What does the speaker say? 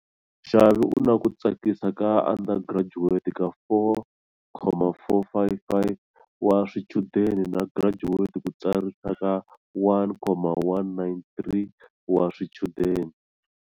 Xavier u na ku tsakisa ka undergraduate ka 4,455 wa swichudeni na graduate ku tsarisa ka 1,193 wa swichudeni.